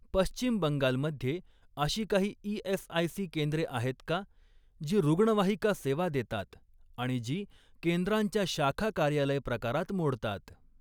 पश्चिम बंगाल मध्ये अशी काही ई.एस.आय.सी केंद्रे आहेत का जी रुग्णवाहिका सेवा देतात आणि जी केंद्रांच्या शाखा कार्यालय प्रकारात मोडतात?